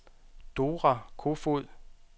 Dora Kofod